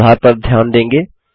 आप सुधार पर ध्यान देंगे